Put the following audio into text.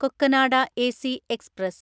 Cocanada AC express